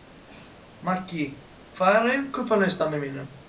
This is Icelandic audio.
Maggý, hvað er á innkaupalistanum mínum?